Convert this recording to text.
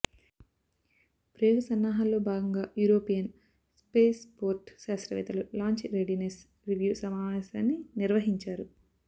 ప్రయోగ సన్నాహాల్లో భాగంగా యురోపియన్ స్పేస్పోర్ట్ శాస్తవ్రేత్తలు లాంచ్ రెడీనెస్ రివ్యూ సమావేశాన్ని నిర్వహించారు